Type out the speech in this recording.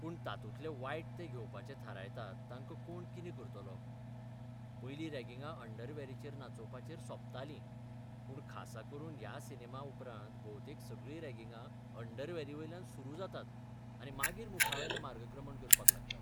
पूण तातूंतले वायट तें घेवपाचें थारायतात ताका कोण कितें करतलो? पयलीं रॉगिंगां अंडरबॅरीचेर नाचोबपाचेर सोंपताल, पूण खासा करून ह्या सिनेमा उपरांत भोवतेक सगळी रॅगिंगा अंडरवॅरीवेल्यान सुरू जातात आनी मागीर मुखावेलें मार्गक्रमण करपाक लागतात.